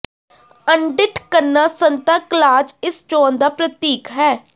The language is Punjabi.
ਅਣਡਿੱਠ ਕਰਨਾ ਸੰਤਾ ਕਲਾਜ਼ ਇਸ ਚੋਣ ਦਾ ਪ੍ਰਤੀਕ ਹੈ